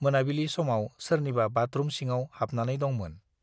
मोनाबिलि समाव सोरनिबा बाथरुम सिङाव हाबनानै दंमोन।